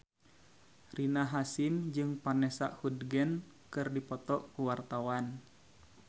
Rina Hasyim jeung Vanessa Hudgens keur dipoto ku wartawan